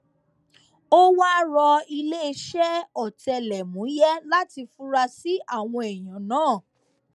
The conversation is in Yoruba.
ó wáá rọ iléeṣẹ ọtẹlẹmúyẹ láti fura sí àwọn èèyàn náà